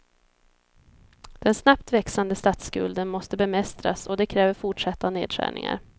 Den snabbt växande statsskulden måste bemästras och det kräver fortsatta nedskärningar.